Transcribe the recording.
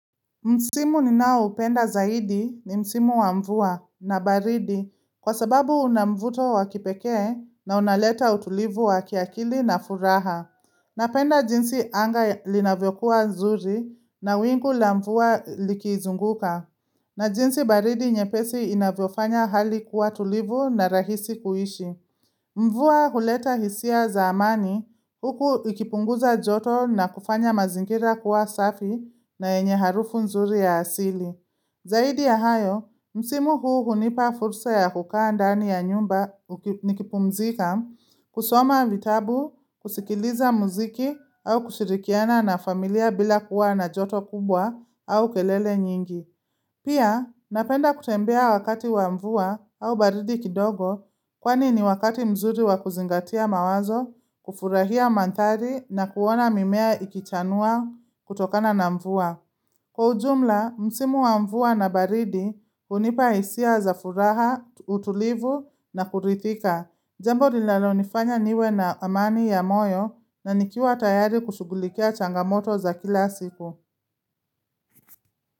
Msimu ninaoupenda zaidi ni msimu wa mvua na baridi kwa sababu unamvuto wakipekee na unaleta utulivu wa kiakili na furaha. Napenda jinsi anga linavyokuwa nzuri na wingu la mvua likizunguka. Na jinsi baridi nyepesi inavyofanya hali kuwa tulivu na rahisi kuishi. Mvua huleta hisia za amani huku ikipunguza joto na kufanya mazingira kuwa safi na enye harufu nzuri ya asili. Zaidi ya hayo, msimu huu hunipa fursa ya kukaa ndani ya nyumba nikipumzika kusoma vitabu, kusikiliza muziki au kushirikiana na familia bila kuwa na joto kubwa au kelele nyingi. Pia, napenda kutembea wakati wa mvua au baridi kidogo kwani ni wakati mzuri wa kuzingatia mawazo, kufurahia manthari na kuona mimea ikichanua kutokana na mvua. Kwa ujumla, msimu wa mvua na baridi, hunipa hisia za furaha, utulivu na kuridhika. Jambo linalalo nifanya niwe na amani ya moyo na nikiwa tayari kushugulikia changamoto za kila siku.